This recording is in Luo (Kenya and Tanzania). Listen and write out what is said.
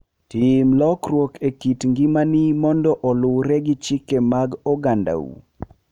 Tim lokruok e kit ngimani mondo oluwre gi chike mag ogandau.